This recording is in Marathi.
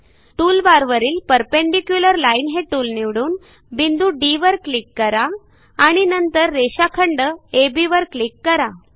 टूलबारवरील परपेंडिक्युलर लाईन हे टूल निवडून बिंदू डी वर क्लिक करा आणि नंतर रेषाखंड अब वर क्लिक करा